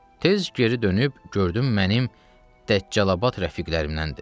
Tez geri dönüb gördüm mənim Dəccalabad rəfiqlərimdəndir.